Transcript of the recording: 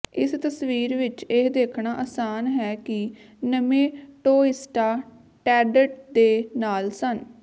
ਇਸ ਤਸਵੀਰ ਵਿਚ ਇਹ ਦੇਖਣਾ ਆਸਾਨ ਹੈ ਕਿ ਨਮੇਟੌਇਸਟਾਂ ਟੈਂਡੇਂਟ ਦੇ ਨਾਲ ਸਨ